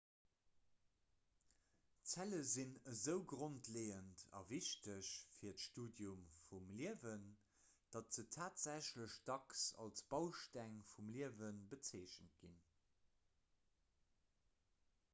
zelle sinn esou grondleeënd a wichteg fir d'studium vum liewen datt se tatsächlech dacks als bausteng vum liewe bezeechent ginn